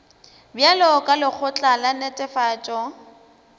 bjalo ka lekgotla la netefatšo